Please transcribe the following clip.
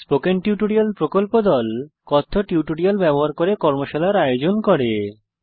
spoken tutorial প্রকল্প দল কথ্য টিউটোরিয়াল ব্যবহার করে কর্মশালার আয়োজন করে